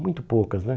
Muito poucas, né?